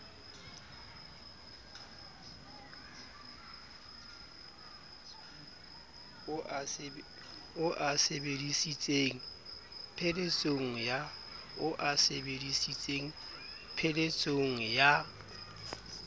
o a sebedisitseng pheletsong ya